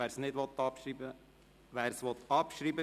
wer es nicht abschreiben will, stimmt Nein.